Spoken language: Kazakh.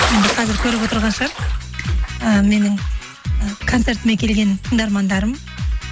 енді қазір көріп отырған шығар ііі менің і концертіме келген тыңдармандарым